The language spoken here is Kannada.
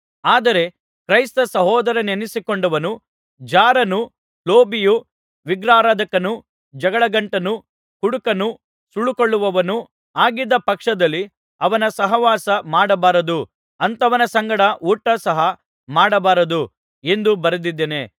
ಆದರೆ ಕ್ರೈಸ್ತ ಸಹೋದರನೆನಿಸಿಕೊಂಡವನು ಜಾರನು ಲೋಭಿಯು ವಿಗ್ರಹಾರಾಧಕನು ಜಗಳಗಂಟನೂ ಕುಡುಕನು ಸುಲುಕೊಳ್ಳುವವನೂ ಆಗಿದ್ದ ಪಕ್ಷದಲ್ಲಿ ಅವನ ಸಹವಾಸ ಮಾಡಬಾರದು ಅಂಥವನ ಸಂಗಡ ಊಟ ಸಹ ಮಾಡಬಾರದು ಎಂದು ಬರೆದಿದ್ದೇನೆ